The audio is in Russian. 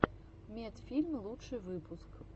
медфильм лучший выпуск